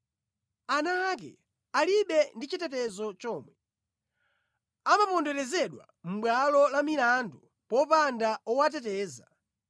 Ana ake alibe ndi chitetezo chomwe; amaponderezedwa mʼbwalo la milandu popanda owateteza.